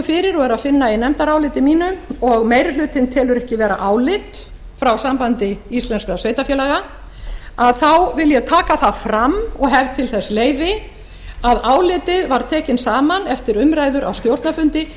fyrir og er að finna í nefndaráliti mínu og meiri hlutinn telur ekki vera álit frá sambandi íslenskum sveitarfélaga þá vil ég taka það fram og hef til þess leyfi að álitið var tekið saman eftir umræður á stjórnarfundi